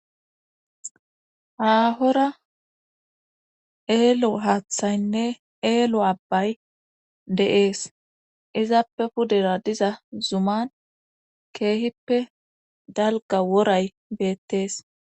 Aahora eelo haaththaynne eelo abbay de7ees izaappe pudera diza zuman keehippe dalga woray beettees